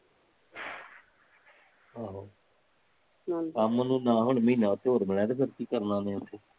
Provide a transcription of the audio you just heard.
ਆਹੋ ਕੰਮ ਨੂੰ ਨਾ ਹੁਣ ਮਹੀਨਾ ਉਥੇ ਹੋਰ ਬਣਿਆ ਤੇ ਫੇਰ ਕੀ ਕਰਨਾ ਉਹਨੇ ਉੱਥੇ